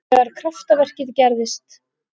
Þegar kraftaverkið gerðist.